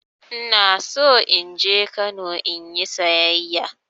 Ina so in je Kano in yi sayayya.